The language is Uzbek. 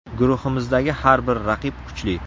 Guruhimizdagi har bir raqib kuchli.